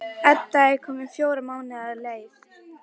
Edda er komin fjóra mánuði á leið.